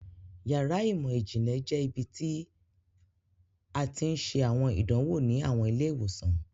Yàrá imọ-jinlẹ jẹ ibiti a ti n ṣe awọn idanwo ni awọn ile-iwosan.